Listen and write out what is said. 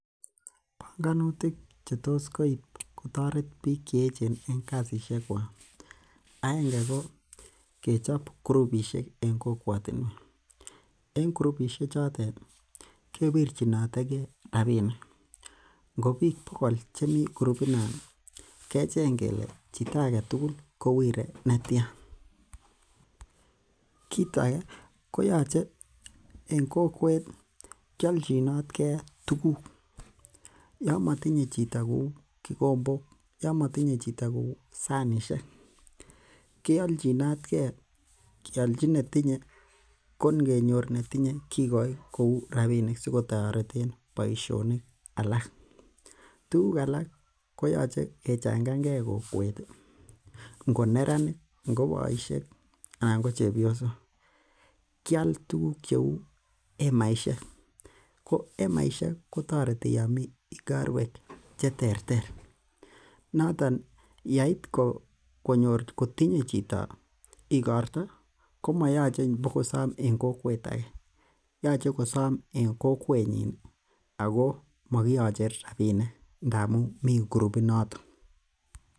Bongonutik chetos kotoret bik chech en kasisiek kwak , aenge ko kechob kurupisiek en kokwotiniek en kurupisiek chotet kewirchinotege robinik, ingo bik pokol chemii kurupit non kecheng kele chito agetugul kokonu netian. Kit age koyoche en kokwet kiolchinot ge tuguk, Yoon motinye chito kouu kikombok, Yoon motinye chito kouu sanisiek kiolchinot ge ingenyor netinye kikoi robinik sikotoreten boisioni alak. Tuguk alak koyoche kechengange kokwet ingo neranik, ingo boisiek anan ingo chebiosok kial tuguk cheuu emaisiek ko emaisiek kotoreti yomi igorwek cheter ak cheter notoon yait kotinye chito igorta komo moyoche ibokosom en kokwet age. Yoche kosom en kokwenyin Ako mogioche robinik ine ndamun mi kurupit noto.